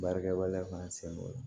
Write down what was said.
Baarakɛ waleya fana sen don o la